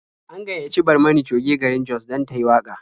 An gayyaci Barmani Coge garin Jos dan tayi waƙa.